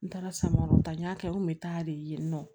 N taara samaraw ta n y'a kɛ n kun bɛ taa de yen nɔ